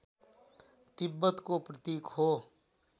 तिब्बतको प्रतीक हो